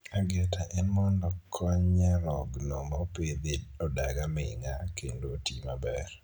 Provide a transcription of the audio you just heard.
Ageta en mondo kony nyarogno mopidhi odag aming'a kendo otii maber.